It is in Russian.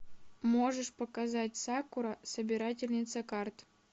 можешь показать сакура собирательница карт